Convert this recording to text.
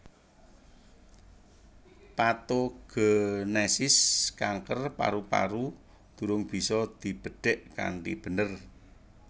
Patogenesis kanker paru paru durung bisa dibedhek kanthi bener